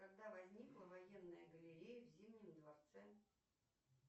когда возникла военная галерея в зимнем дворце